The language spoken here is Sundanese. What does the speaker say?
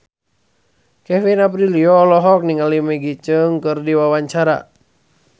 Kevin Aprilio olohok ningali Maggie Cheung keur diwawancara